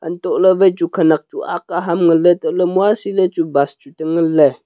untohley wai chu khenak ak aham nganley untohley muasiley chu bus chu tenganley.